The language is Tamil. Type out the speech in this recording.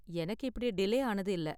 எனக்கு இப்படி டிலே ஆனது இல்ல.